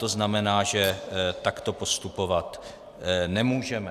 To znamená, že takto postupovat nemůžeme.